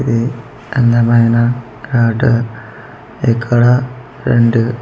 ఇది అందమైన ఆటో ఇక్కడ రెండు--